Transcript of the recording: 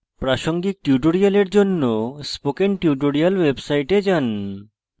প্রাসঙ্গিক tutorials জন্য spoken tutorials website যান